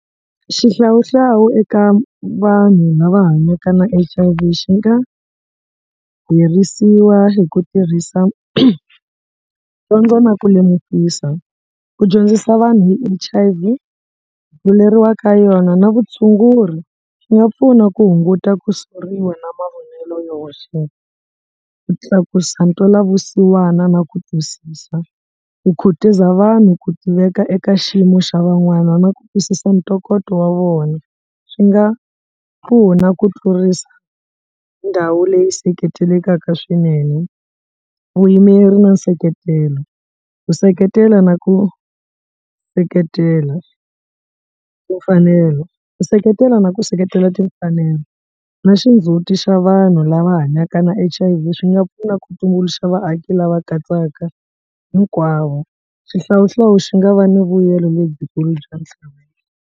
Xihlawuhlawu eka vanhu lava hanyaka na H_I_V xi nga herisiwa hi ku tirhisa dyondzo na ku lemukisa ku dyondzisa vanhu hi H_I_V ka yona na vutshunguri swi nga pfuna ku hunguta ku soriwa na mavonelo yo hoxeka. Ku tlakusa ntwelavusiwana na ku twisisa, ku khutuza vanhu ku tiveka eka xiyimo xa van'wana na ku twisisa ntokoto wa vona swi nga pfuna ku tlurisa ndhawu leyi seketelekaka swinene vuyimeri na nseketelo, ku seketela na ku seketela timfanelo ku seketela na ku seketela timfanelo na xindzhuti xa vanhu lava hanyaka na H_I_V swi nga pfuna ku tumbuluxa vaaki lava katsaka hinkwavo xihlawuhlawu xi nga va ni vuyelo lebyikulu bya .